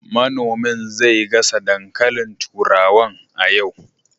Manomin zai gasa dankalin turawan a yau